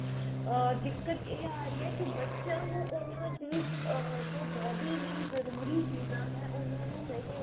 ਆ ਦਿਕਤ ਇਹ ਆ ਰਹੀ ਹੈ ਕੀ ਬੱਚਿਆਂ ਨੂੰ ਉਹਨਾਂ ਦੀ ਆ ਜੋ body ਲਈ ਜਰੂਰੀ ਚੀਜ਼ਾਂ ਹੈਂ ਉਹਨਾਂ ਨੂੰ ਨਹੀਂ ਮਿਲ